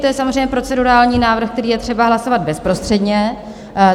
To je samozřejmě procedurální návrh, který je třeba hlasovat bezprostředně.